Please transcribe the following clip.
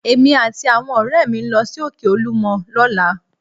Èmi àti àwọn ọ̀rẹ́ mi ń lọ sí Òkè olúmọ lọ́la